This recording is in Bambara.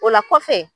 O la kɔfɛ